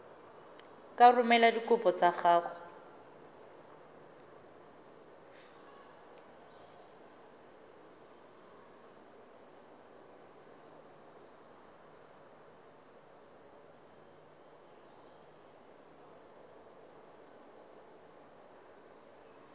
ka romela dikopo tsa gago